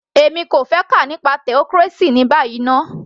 Èmi kò fẹ́ kà nípa theocracy ní báyìí ná